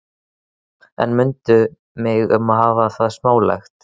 En mundu mig um að hafa það smálegt.